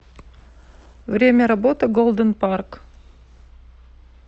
время работы голден парк